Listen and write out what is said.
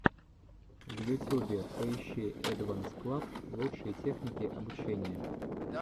в ютюбе поищи эдванс клаб лучшие техники обучения